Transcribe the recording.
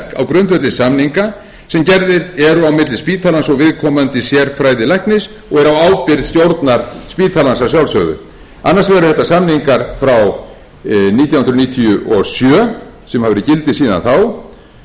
grundvelli samninga sem gerðir eru á milli spítalans og viðkomandi sérfræðilæknis og á ábyrgð stjórnar spítalans að sjálfsögðu annars vegar eru þetta samningar frá nítján hundruð níutíu og sjö sem hafa verið í gildi síðan þá